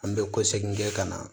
An bɛ kɔsegin kɛ ka na